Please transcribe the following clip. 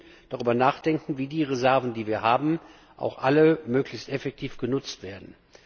Wir müssen darüber nachdenken, wie die Reserven, die wir haben, auch alle möglichst effektiv genutzt werden.